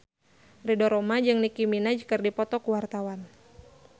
Ridho Roma jeung Nicky Minaj keur dipoto ku wartawan